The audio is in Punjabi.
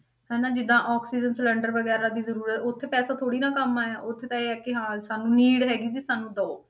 ਹਨਾ ਜਿੱਦਾਂ ਆਕਸੀਜਨ ਸਿਲੈਂਡਰ ਵਗ਼ੈਰਾ ਦੀ ਜ਼ਰੂਰਤ, ਉੱਥੇ ਪੈਸਾ ਥੋੜ੍ਹੀ ਨਾ ਕੰਮ ਆਇਆ, ਉੱਥੇ ਤਾਂ ਇਹ ਹੈ ਕਿ ਹਾਂ ਸਾਨੂੰ need ਹੈਗੀ ਸੀ ਸਾਨੂੰ ਦੇਵੋ।